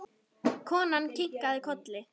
Konan kinkaði kolli.